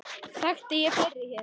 Þekkti ég fleiri hér?